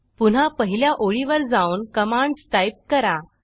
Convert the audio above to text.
पुन्हा पहिल्या ओळीवर जाऊन कमांडस टाईप करा